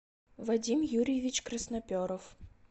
вадим юрьевич красноперов